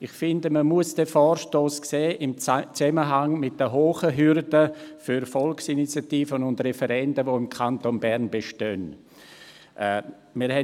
Ich finde, man muss den Vorstoss im Zusammenhang mit den hohen Hürden für Volksinitiativen und Referenden, die im Kanton Bern eingereicht werden, sehen.